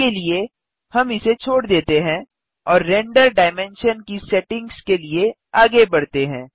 अभी के लिए हम इसे छोड़ देते हैं और रेंडर डायमेंशन की सेटिंग्स के लिए आगे बढ़ते हैं